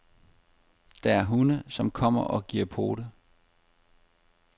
Der er hunde, som kommer og giver pote.